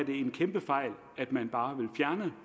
en kæmpe fejl at man bare